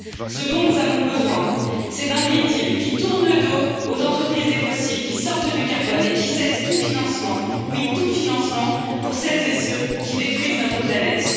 Ce dont nous avons besoin, c'est d'un pacte vert pour l'Europe qui tourne le dos aux entreprises des fossiles, qui sorte du carbone et qui cesse tout financement, oui tout financement, pour celles et ceux qui détruisent notre planète.